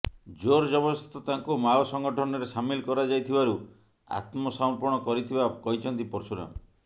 ଜୋର ଜବରଦସ୍ତ ତାଙ୍କୁ ମାଓ ସଂଗଠନରେ ସାମିଲ କରାଯାଇଥିବାରୁ ଆତ୍ମସମର୍ପଣ କରିଥିବା କହିଛନ୍ତି ପର୍ଶୁରାମ